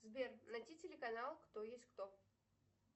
сбер найди телеканал кто есть кто